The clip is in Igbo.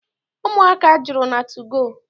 Ụmụaka juru na tugoo.